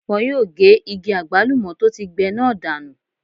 Wọ́n yóò ge igi àgbálùmọ́ tó ti gbẹ náà dànù.